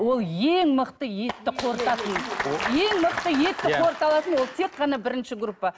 ол ең мықты етті қорытатын ең мықты етті қорыта алатын ол тек қана бірінші группа